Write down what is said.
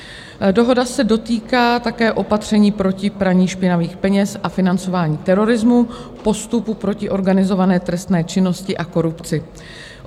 Dohoda se dotýká také opatření proti praní špinavých peněz a financování terorismu, postupu proti organizované trestné činnosti a korupci.